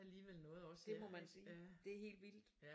Det må man sige det er helt vildt